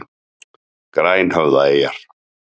Grænhöfðaeyjar